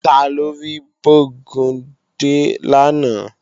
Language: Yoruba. Taló rí Bógúndé lánàá?